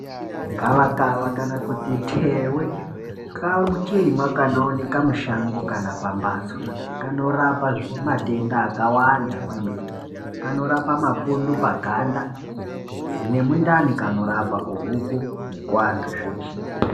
Gavaka kana kuti thewe kachirimwa kanoonekwa mushango kana pambatso kanorapa matenda akawanda kwemene kanorapa mapundu paganda nemundani kanorapa kuhuku nekuwantu zveshe